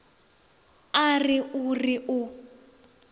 a re o re o